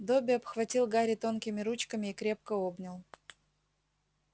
добби обхватил гарри тонкими ручками и крепко обнял